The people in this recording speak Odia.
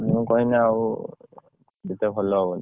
ମୁଁ କହିନେ ଆଉ ଗୁଟେ ଭଲ ହବନି